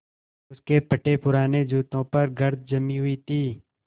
उसके फटेपुराने जूतों पर गर्द जमी हुई थी